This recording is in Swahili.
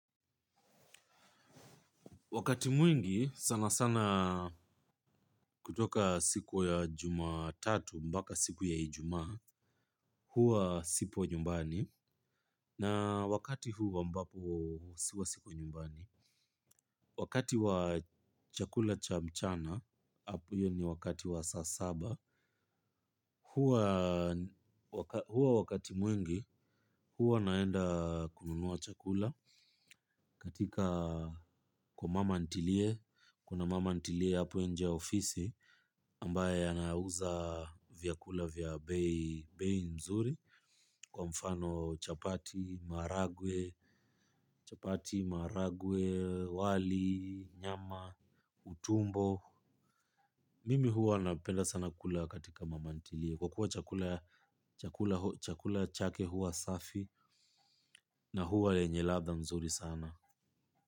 Wakati mwingi sana sana kutoka siku ya jumatatu mbaka siku ya ijumaa huwa sipo nyumbani na wakati huu ambapo siwa siko nyumbani. Wakati wa chakula cha mchana, ap hiyo ni wakati wa saa saba hu huwa wakati mwingi huwa naenda kununua chakula katika kwa mama ntilie, kuna mama ntilie hapo nje ya ofisi ambaye anauza vyakula vya bei bei mzuri. Kwa mfano chapati, maragwe, chapati, maragwe, wali, nyama, utumbo. Mimi huwa napenda sana kula katika mama ntilie kwa kuwa chakula chakula chakula chake huwa safi na huwa lenye ladha nzuri sana.